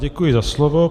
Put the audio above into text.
Děkuji za slovo.